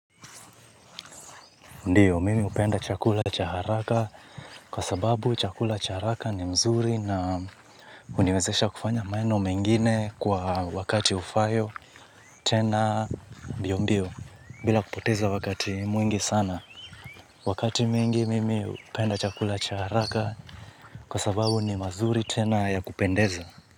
Ndiyo, mimi upenda chakula cha haraka kwa sababu chakula cha haraka ni mzuri na uniwezesha kufanya maneno mengine kwa wakati ufayo tena mbiombio bila kupoteza wakati mwingi sana. Wakati mingi mimi upenda chakula cha haraka kwa sababu ni mazuri tena ya kupendeza.